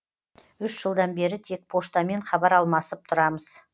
үш жылдан бері тек поштамен хабар алмасып тұрамыз